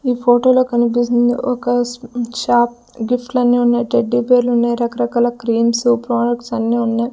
ఈ ఫోటోలో కనిపిస్తుంది ఒక స్ షాప్ గిఫ్ట్లు అన్నీ ఉన్నాయి టెడ్డీబేర్లు ఉన్నాయి రకరకాల క్రీమ్స్ ప్రొడక్ట్స్ అన్నీ ఉన్నాయి.